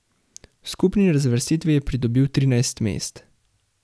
V skupni razvrstitvi je pridobil trinajst mest.